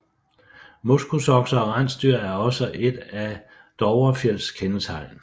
Moskusokser og rensdyr er også et af Dovrefjells kendetegn